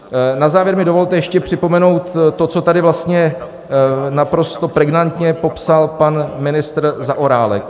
Na závěr mi dovolte ještě připomenout to, co tady vlastně naprosto pregnantně popsal pan ministr Zaorálek.